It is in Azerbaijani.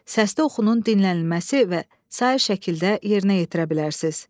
Səslə oxunulmanın dinlənilməsi və sair şəkildə yerinə yetirə bilərsiz.